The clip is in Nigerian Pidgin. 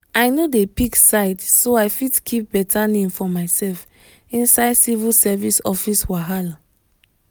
i no dey pick side so i fit keep better name for myself inside civil service office wahala.